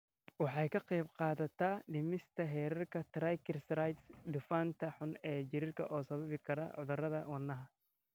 Waxay ka qaybqaadataa dhimista heerarka triglycerides, dufanka xun ee jirka oo sababi kara cudurrada wadnaha.